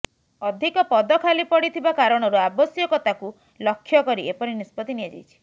ଅଧିକ ପଦ ଖାଲି ପଡ଼ିଥିବା କାରଣରୁ ଆବଶ୍ୟକତାକୁ ଲକ୍ଷ୍ୟ କରି ଏପରି ନିଷ୍ପତ୍ତି ନିଆଯାଇଛି